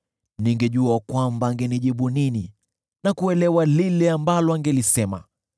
Ningejua kwamba angenijibu nini, na kuelewa lile ambalo angelisema.